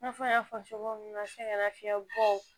I n'a fɔ n y'a fɔ cogo min na sɛgɛn nafiyɛn bɔ